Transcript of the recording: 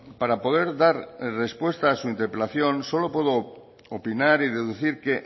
para poder dar respuesta a su interpelación solo puedo opinar y deducir que